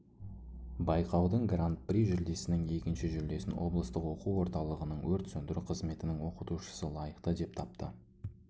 байқаудың гран-при жүлдесінің екінші жүлдесін облыстық оқу орталығының өрт сөндіру қызметінің оқытушысы лайықты деп тапты